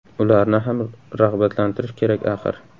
Ularni ham rag‘batlantirish kerak, axir.